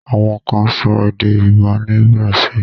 Àwọn kan sọ èdè Yorùbá ni Brazil.